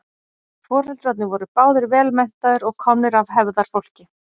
foreldrarnir voru báðir vel menntaðir og komnir af hefðarfólki